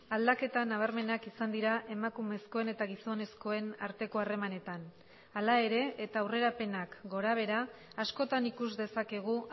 aldaketa nabarmenak izan dira emakumezkoen eta gizonezkoen arteko harremanetan hala ere eta aurrerapenak gorabehera askotan ikus dezakegu